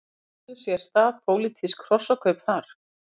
Áttu sér stað pólitísk hrossakaup þar?